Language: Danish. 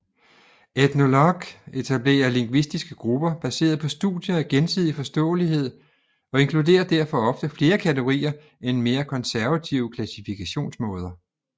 Ethnologue etablerer lingvistiske grupper baseret på studier af gensidig forståelighed og inkluderer derfor ofte flere kategorier end mere konservative klassifikationsmåder